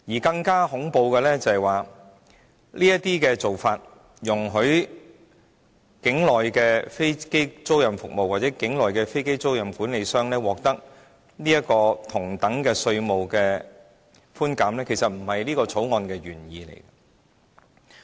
更恐怖的是，這些做法容許境內的飛機租賃服務或飛機租賃管理商獲得同等的稅務寬減，其實並不是《條例草案》的原意。